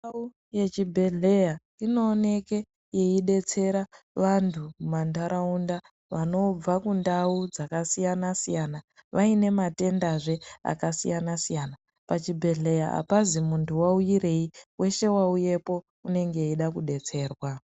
Ndau yechibhedhlera inooneke yeidetsera antu mumanharaunda vanobva kundau dzakasiyana siyana vaine matendazve akasiyana siyana. Pachibhedhlera apazi muntu waiuyirei weshe wauyepo unenge eide kudetserwa.